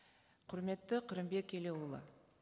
құрметті қырымбек елеуұлы